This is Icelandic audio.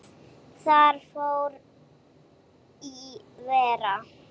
Þar fór í verra.